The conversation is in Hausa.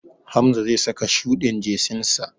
Hamza zai saka shuɗin jesinsa.